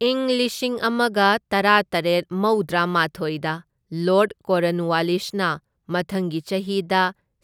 ꯏꯪ ꯂꯤꯁꯤꯡ ꯑꯃꯒ ꯇꯔꯥꯇꯔꯦꯠ ꯃꯧꯗ꯭ꯔꯥꯃꯥꯊꯣꯢꯗ ꯂꯣꯔꯗ ꯀꯣꯔꯟꯋꯥꯂꯤꯁꯅ ꯃꯊꯪꯒꯤ ꯆꯍꯤꯗ